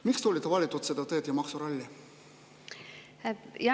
Miks te olete valinud selle tee ja maksuralli?